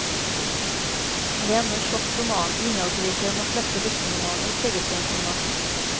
Men det är ändå en tjock roman, innehållsrikare än de flesta dussinromaner i tegelstensformat.